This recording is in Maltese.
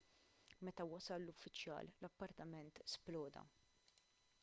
meta wasal l-uffiċjal l-appartament sploda